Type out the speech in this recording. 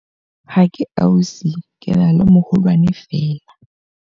Ha ke ausi ke na le moholwane feela.